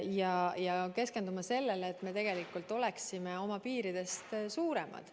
Me peame keskenduma sellele, et me tegelikult oleksime suuremad, kui meie piirid määravad.